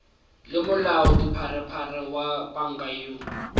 le molaodipharephare wa panka yoo